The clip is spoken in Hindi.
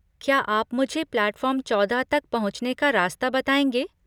क्या आप मुझे प्लैटफॉर्म चौदह तक पहुंचने का रास्ता बताएंगे?